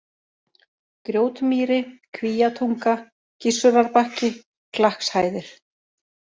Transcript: Grjótmýri, Kvíatunga, Gissurarbakki, Klakkshæðir